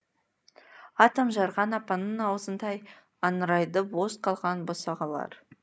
атом жарған апанның ауызындай аңырайды бос қалған босағалар